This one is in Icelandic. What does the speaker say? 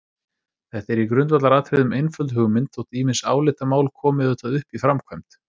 Þetta er í grundvallaratriðum einföld hugmynd þótt ýmis álitamál komi auðvitað upp í framkvæmd.